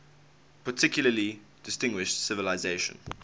particularly distinguished civilization